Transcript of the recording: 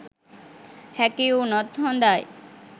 හැකි වුණොත් හොඳයි